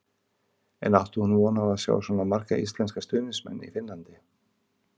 En átti hún von á að sjá svona marga íslenska stuðningsmenn í Finnlandi?